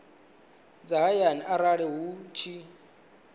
dza hayani arali hu tshi